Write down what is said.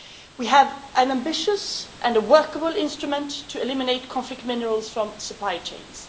We have an ambitious and a workable instrument to eliminate conflict minerals from supply chains.